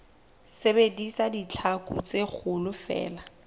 sebedisa ditlhaku tse kgolo feela